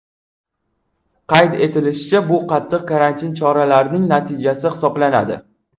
Qayd etilishicha, bu qattiq karantin choralarining natijasi hisoblanadi.